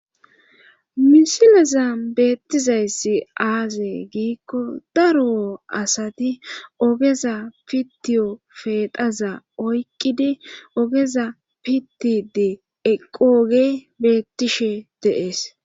misileza beettizayssi aaze giikko daro asati ogeza pitiyo peexaza oykkidi ogeza pittidi eqqooge beettishe deees.